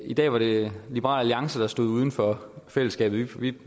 i dag var det liberal alliance der stod uden for fællesskabet vi